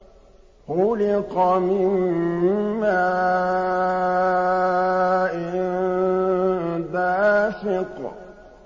خُلِقَ مِن مَّاءٍ دَافِقٍ